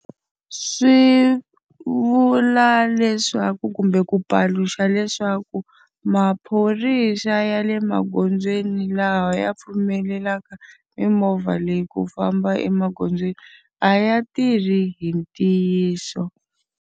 Swi vula leswaku kumbe ku paluxa leswaku, maphorisa ya le magondzweni laha ya pfumelelaka mimovha leyi ku famba emagondzweni a ya tirhi hi ntiyiso.